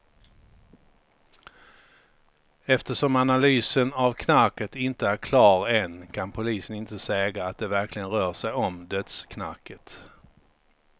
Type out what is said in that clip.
Eftersom analysen av knarket inte är klar än kan polisen inte säga att det verkligen rör sig om dödsknarket.